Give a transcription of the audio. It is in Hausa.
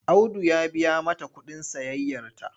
Audu ya biya mata kuɗin sayayyarta.